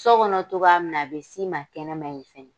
So kɔnɔ togoya min na, a bɛ s'i ma kɛnɛma in fɛna